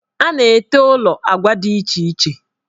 A na-ete ụlọ agwa dị iche iche.